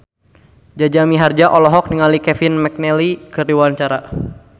Jaja Mihardja olohok ningali Kevin McNally keur diwawancara